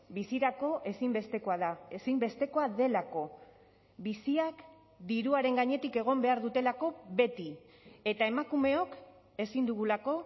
bizirako ezinbestekoa da ezinbestekoa delako biziak diruaren gainetik egon behar dutelako beti eta emakumeok ezin dugulako